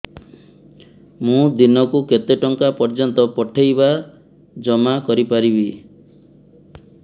ମୁ ଦିନକୁ କେତେ ଟଙ୍କା ପର୍ଯ୍ୟନ୍ତ ପଠେଇ ବା ଜମା କରି ପାରିବି